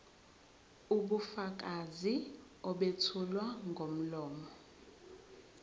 ubufakazi obethulwa ngomlomo